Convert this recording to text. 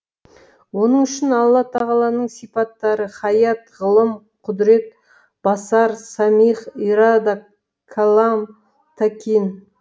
оның үшін алла тағаланың сипаттары хаят ғылым құдірет басар сәмиғ ирада кәлам тәкин